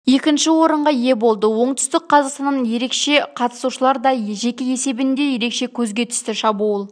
екінші орынға ие болды оңтүстік қазақстаннан ересек қатысушылар да жеке есебінде ерекше көзге түсті шабуыл